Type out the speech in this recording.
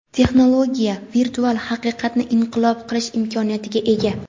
Texnologiya virtual haqiqatni inqilob qilish imkoniyatiga ega.